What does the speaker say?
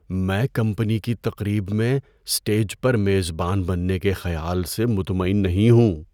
میں کمپنی کی تقریب میں اسٹیج پر میزبان بننے کے خیال سے مطمئن نہیں ہوں۔